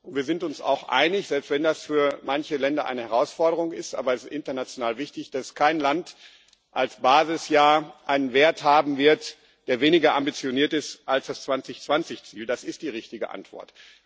Wir sind uns auch einig selbst wenn das für manche Länder eine Herausforderung ist, aber es ist international wichtig dass kein Land als Basisjahr einen Wert haben wird, der weniger ambitioniert ist als das 2020 Ziel das ist die richtige Antwort.